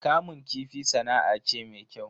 Kamun kifi sana'a ce me kyau.